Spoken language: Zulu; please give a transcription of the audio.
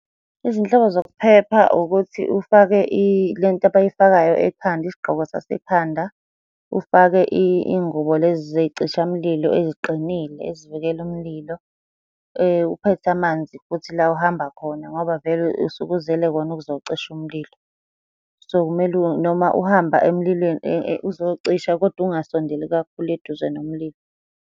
Izinhlobo zokuphepha ukuthi ufake le nto abayifakayo ekhanda, isigqoko sasekhanda, ufake iy'ngubo lezi zey'cishamlilo eziqinile ezivikela umlilo. Uphethe amanzi futhi la ohamba khona, ngoba vele usuke uzele kona ukuzocisha umlilo. So, kumele noma uhamba emlilweni uzocisha koda ungasondeli kakhulu eduze nomlilo.